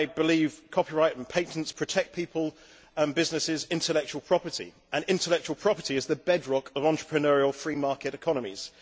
I believe copyright and patents protect people, businesses and intellectual property and intellectual property is the bedrock of entrepreneurial free market economies.